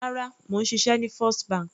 Rárá, mò ń ṣiṣẹ́ ní First bank.